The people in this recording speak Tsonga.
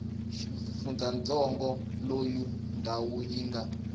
xifundzantsongo loyi ndhawu yi nga